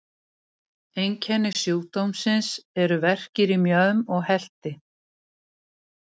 Einkenni sjúkdómsins eru verkir í mjöðm og helti.